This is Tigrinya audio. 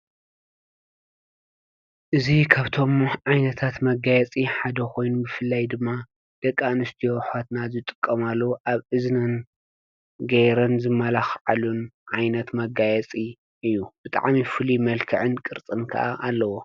እዙይ ከብቶሞ ዓይነታት መጋየጺ ሓደ ኾይኑ ብፍላይ ድማ ደቂ ኣንስቲዮ ዝጥቀማሉ ኣብ እዝንን ገይረን ዝመላኽዓሉን ዓይነት መጋየፂ እዩ ብጣዓም ይፍል መልከዕን ቅርጽንካ ኣለዎ።